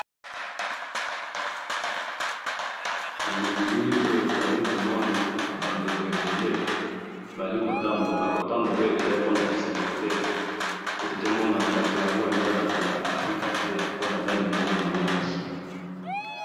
Eh! Nabilili oyo tozali komona bandako ebele bazali kotambola, kotambola oyo ezali pona esengo te, pe tozomona batu yango eza batu ya Africa te, po baza mindele bango nyoso.